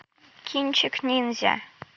кинчик ниндзя